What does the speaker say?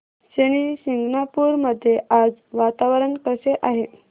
शनी शिंगणापूर मध्ये आज वातावरण कसे आहे